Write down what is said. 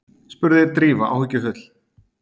spurði Drífa áhyggjufull.